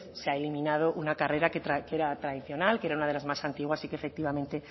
se ha eliminado una carrera que era tradicional que era una de más antiguas y que efectivamente